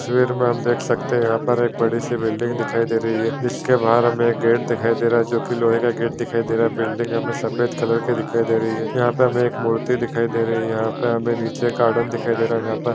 तस्वीर में हम देख सकते है यहाँ पर एक बड़ी सी बिल्डिंग दिखाई दे रही है जिसके बाहर हमें एक गेट दिखाई दे रहा है जो कि लोहे का गेट दिखाई दे रहा है बिल्डिंग हमें सफ़ेद कलर की दिखाई दे रही है यहाँ पे हमें एक मूर्ति दिखाई दे रही है यहाँ पे हमें नीचे एक गार्डन दिखाई दे रहा है यहाँ पे --